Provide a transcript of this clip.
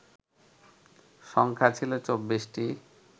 সংখ্যা ছিল ২৪টি